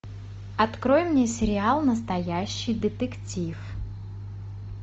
открой мне сериал настоящий детектив